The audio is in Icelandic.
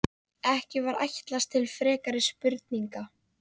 Ekki var ætlast til frekari spurninga.